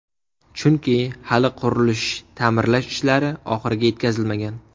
Chunki, hali qurilish-ta’mirlash ishlari oxiriga yetkazilmagan.